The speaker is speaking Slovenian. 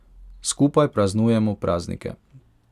Skupaj praznujemo praznike.